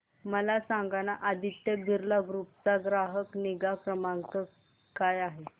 मला सांगाना आदित्य बिर्ला ग्रुप चा ग्राहक निगा क्रमांक काय आहे